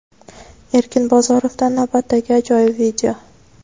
Erkin Bozorovdan navbatdagi ajoyib video.